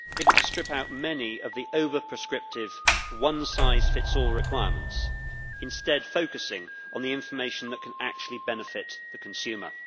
We have been able to strip out many of the over prescriptive one size fits all requirements, instead focusing on the information that can actually benefit the consumer.